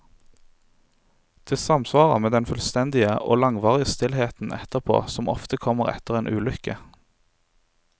Det samsvarer med den fullstendige og langvarige stillheten etterpå som ofte kommer etter en ulykke.